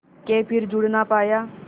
के फिर जुड़ ना पाया